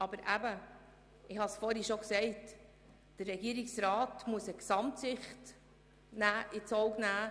Aber wie ich zuvor schon gesagt habe, muss der Regierungsrat eine Gesamtsicht einnehmen.